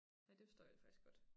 Ja det forstår jeg faktisk godt